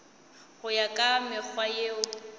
go ya ka mekgwa yeo